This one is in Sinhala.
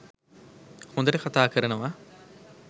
හොඳට කතා කරනවා